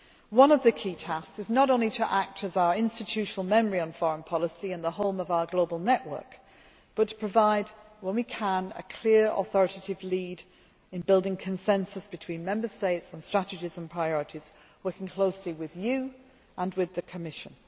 One of the key tasks is not only to act as our institutional memory on foreign policy and the home of our global network but to provide, when we can, a clear, authoritative lead in building consensus between Member States on strategies and priorities, working closely with you and with the Commission.